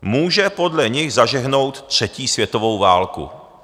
Může podle nich zažehnout třetí světovou válku."